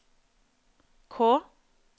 K